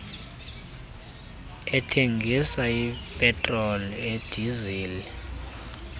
ethengisa ipetroli idizili